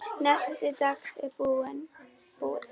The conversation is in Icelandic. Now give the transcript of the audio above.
Nesti dagsins er búið.